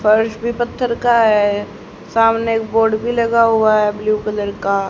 फर्श भी पत्थर का है सामने एक बोर्ड भी लगा है ब्ल्यू कलर का।